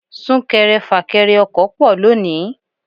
Súnkẹrẹ fà kẹrẹ ọkọ̀ pọ̀ lónìí.